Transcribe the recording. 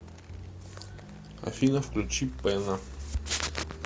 афина включи пэнна